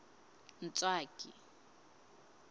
ntswaki